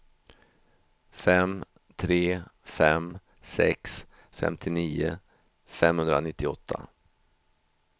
fem tre fem sex femtionio femhundranittioåtta